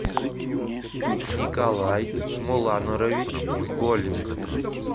николай муланорович голик